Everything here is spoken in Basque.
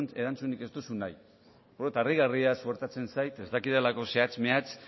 erantzunik ez duzu nahi harrigarria suertatzen zait ez dakidalako zehatz mehatz